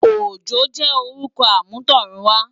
Ojo jè órùkò àmútọ̀runwá